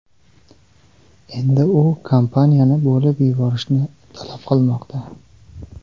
Endi u kompaniyani bo‘lib yuborishni talab qilmoqda.